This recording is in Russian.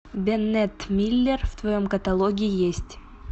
беннетт миллер в твоем каталоге есть